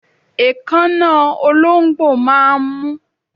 Èékánná ológbò máà ń mú